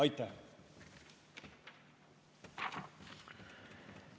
Aitäh!